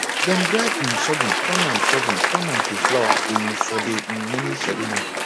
dem grind um surghum turn am surghum turn am to flour um for de um naming ceremony